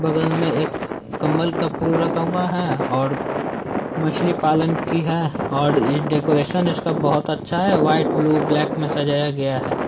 बगल मे एक कम्मल का फूल रखा हुआ है और मछली पालन की है और ये डेकोरैशन इसका बहुत अच्छा है व्हाइट ब्लू ब्लैक मे सजाया गया है।